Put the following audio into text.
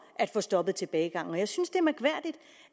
at få stoppet tilbagegangen jeg synes det